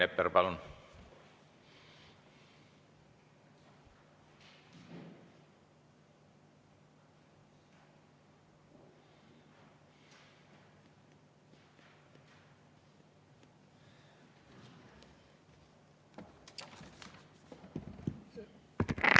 Rain Epler, palun!